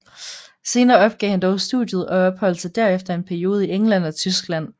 Senere opgav han dog studiet og opholdt sig derefter i en periode i England og Tyskland